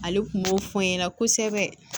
Ale kun b'o fɔ n ɲɛna kosɛbɛ